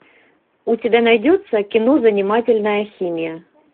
у тебя найдется кино занимательная химия